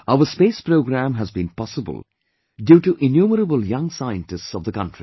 Our space program has been possible due to innumerable young scientists of the country